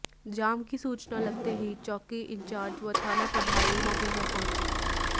जाम की सूचना लगते ही चौकी इंचार्ज व थाना प्रभारी मौके पर पहुंचे